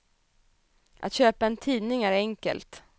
Att köpa en tidning är enkelt.